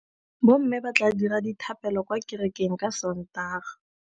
Bommê ba tla dira dithapêlô kwa kerekeng ka Sontaga.